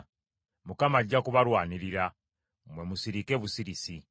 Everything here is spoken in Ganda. Mukama ajja kubalwanirira. Mmwe musirike busirisi.”